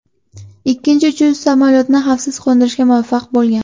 Ikkinchi uchuvchi samolyotni xavfsiz qo‘ndirishga muvaffaq bo‘lgan.